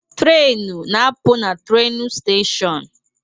Trenu na apụ na trenu steshon